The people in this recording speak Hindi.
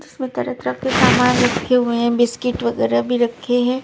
इसमें तरह तरह के समान रखे हुए हैं बिस्किट वगैरह भी रखे हैं।